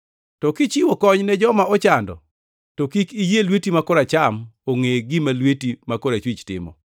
To kichiwo kony ne joma ochando to kik iyie lweti ma koracham ongʼe gima lweti ma korachwich timo,